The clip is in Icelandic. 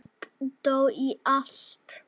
Fólk dó og allt.